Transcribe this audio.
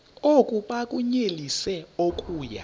oku bakunyelise okuya